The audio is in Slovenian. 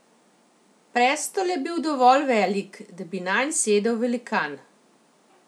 Prestol je bil dovolj velik, da bi nanj sedel velikan.